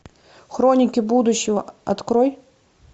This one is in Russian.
хроники будущего открой